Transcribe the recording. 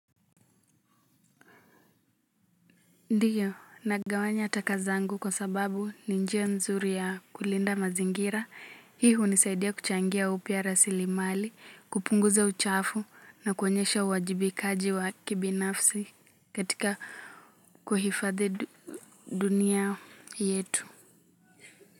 Ndio, nagawanya taka zangu kwa sababu ni njia nzuri ya kulinda mazingira. Hii hunisaidia kuchangia upya rasilimali, kupunguza uchafu na kuonyesha uwajibikaji wa kibinafsi katika kuhifadhi dunia yetu.